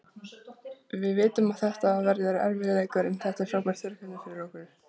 Við vitum að þetta verður erfiður leikur, en þetta er frábært verkefni fyrir okkur.